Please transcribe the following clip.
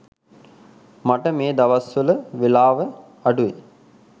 මට මේ දවස්වල වෙලාව අඩුයි.